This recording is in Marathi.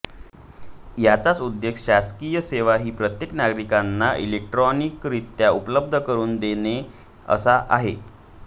याचा उद्देश शासकीय सेवा ही प्रत्येक नागरीकांना इलेक्ट्रॉनिकरित्या उपलब्ध करुन देणे असा आहे